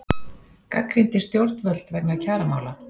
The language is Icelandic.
Gagnrýndi stjórnvöld vegna kjaramála